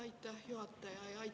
Aitäh, juhataja!